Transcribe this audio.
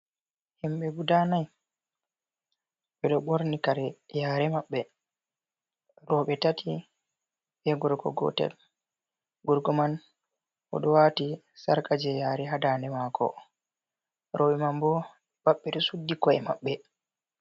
Himɓe guda nai ɓeɗo ɓorni kare yare maɓɓe. Roɓe tati be gorko gotel. Gorko man oɗo wati sarka je yare ha daande mako roɓe man bo pat ɓeɗo suddi ko’e maɓɓe.